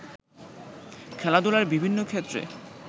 খেলাধুলার বিভিন্ন ক্ষেত্রে